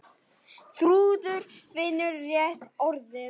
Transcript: Þrúður finnur réttu orðin.